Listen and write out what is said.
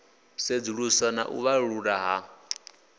sedzuluswa na u vhalululwa ha